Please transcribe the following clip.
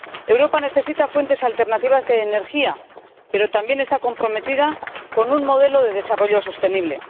Europa necesita fuentes alternativas de energía, pero también está comprometida con un modelo de desarrollo sostenible.